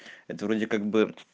это вроде как бы